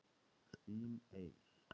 Þín Eir.